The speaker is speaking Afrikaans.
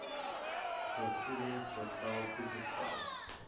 vergoedings bevel toegestaan